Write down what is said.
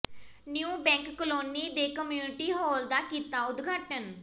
new Bank Colony ਦੇ community hall ਦਾ ਕੀਤਾ ਉਦਘਾਟਨ